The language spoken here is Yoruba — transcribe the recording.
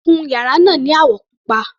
Kun yàrá náà ni àwọ̀ pupa.